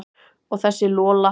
Og þessa Lola.